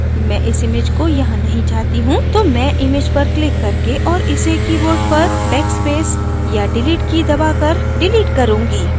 मैं इस image को यहाँ नहीं चाहती हूँ तो मैं image पर क्लिक करके और इसे keyboard पर backspace या delete की दबाकर डिलीट करूँगी